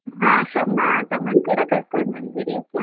ಹಾ ತಮ್ಮ ತಮ್ಮನ್ನ ಕೂಡಾ ಕರ್ಕೊಂಡ್ಬಂದ್ಬಿಡಿ ಆಯ್ತಾ okay.